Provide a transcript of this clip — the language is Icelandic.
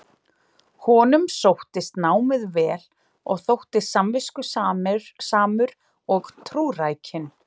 Honum sóttist námið vel og þótti samviskusamur og trúrækinn.